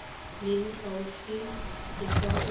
leng gaufi le fa o